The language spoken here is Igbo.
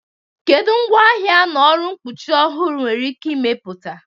Kedu ngwaahịa na ọrụ mkpuchi ọhụrụ enwere ike ịmepụta?